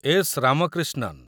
S. Ramakrishnan